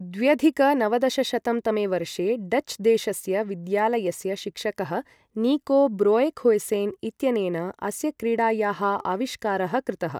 द्व्यधिक नवदशशतं तमे वर्षे डच् देशस्य विद्यालयस्य शिक्षकः निको ब्रोएखुयसेन् इत्यनेन अस्य क्रीडायाः आविष्कारः कृतः ।